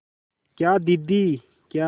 क्या दीदी क्या